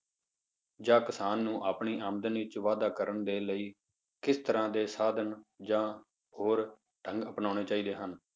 ਜਾਂ ਕਿਸਾਨ ਨੂੰ ਆਪਣੀ ਆਮਦਨ ਵਿੱਚ ਵਾਧਾ ਕਰਨ ਦੇ ਲਈ ਕਿਸ ਤਰ੍ਹਾਂ ਦੇ ਸਾਧਨ ਜਾਂ ਹੋਰ ਢੰਗ ਅਪਨਾਉਣੇ ਚਾਹੀਦੇ ਹਨ?